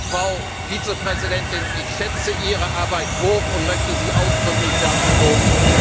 Frau Vizepräsidentin, ich schätze Ihre Arbeit hoch und möchte Sie ausdrücklich dafür loben.